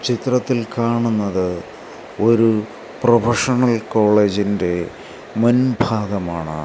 ചിത്രത്തിൽ കാണുന്നത് ഒരു പ്രൊഫഷണൽ കോളേജിൻറെ മുൻ ഭാഗമാണ്.